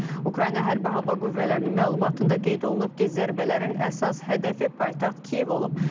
Ukrayna hərbi hava qüvvələrinin məlumatında qeyd olunub ki, zərbələrin əsas hədəfi paytaxt Kiyev olub.